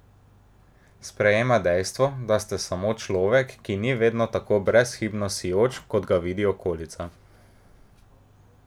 Sprejema dejstvo, da ste samo človek, ki ni vedno tako brezhibno sijoč, kot ga vidi okolica.